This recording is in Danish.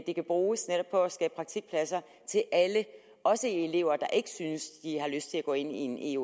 de kan bruges netop for at skabe praktikpladser til alle også elever der ikke synes de har lyst til at gå ind i